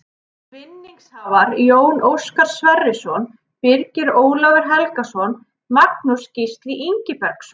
Vinningshafar: Jón Óskar Sverrisson Birgir Ólafur Helgason Magnús Gísli Ingibergsson